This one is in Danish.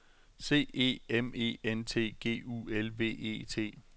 C E M E N T G U L V E T